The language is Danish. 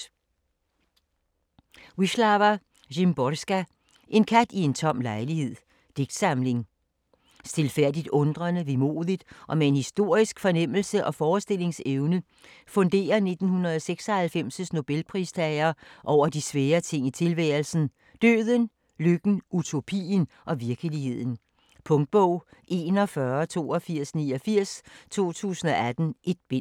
Szymborska, Wisława : En kat i en tom lejlighed Digtsamling. Stilfærdigt undrende, vemodigt og med en historisk fornemmelse og forestillingsevne funderer 1996's nobelpristager over de svære ting i tilværelsen: døden, lykken, utopien og virkeligheden. Punktbog 418289 2018. 1 bind.